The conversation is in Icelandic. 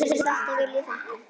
Fyrir þetta vil ég þakka.